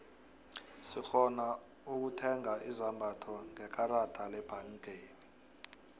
sirhona ukutheiga izombatho ngekarada lebhangeni